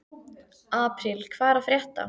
Apríl, hvað er að frétta?